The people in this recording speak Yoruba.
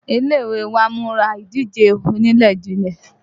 Ilé ìwé wa ń múra ìdíje onilejile